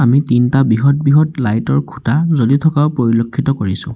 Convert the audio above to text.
আমি তিনিটা বৃহৎ বৃহৎ লাইট ৰ খুঁটা জ্বলি থকাও পৰিলেক্ষিত কৰিছোঁ।